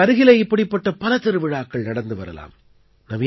உங்களுக்கு அருகிலே இப்படிப்பட்ட பல திருவிழாக்கள் நடந்து வரலாம்